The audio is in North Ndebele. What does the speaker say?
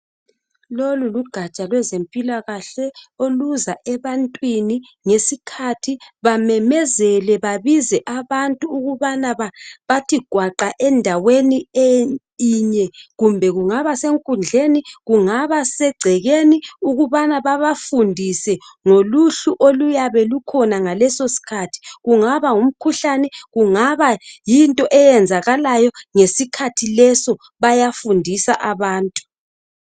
lolu lugaja lwezempila kahle oluza ebantwini ngesikhathi bememezela babize abantu ukub anabathi gwaqa endaweni yinye kumbe kungaba senkundleni kungaba segcekeni ukubana babafundise ngoluhlu oluyabe lukhona ngaleso sikhathi kungaba ngumkhuhlane kungaba yilutho oluyenzakalayo ngesikhathi leso baya fundisa abantu